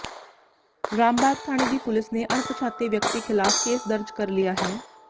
ਰਾਮਬਾਗ ਥਾਣੇ ਦੀ ਪੁਲਿਸ ਨੇ ਅਣਪਛਾਤੇ ਵਿਅਕਤੀ ਖ਼ਿਲਾਫ਼ ਕੇਸ ਦਰਜ ਕਰ ਲਿਆ ਹੈ